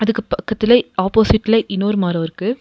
இதுக்கு பக்கத்லே ஆப்போசிட்லே இன்னொரு மரோ இருக்கு.